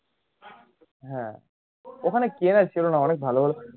হ্যাঁ ওখানে চেনার ছিল না অনেক ভালো ভালো